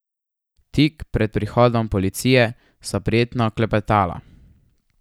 Tik pred prihodom policije sva prijetno klepetala.